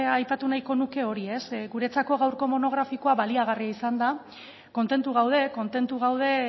aipatu nahiko nuke hori ez guretzako gaurko monografikoa baliagarria izan da kontentu gaude kontentu gaude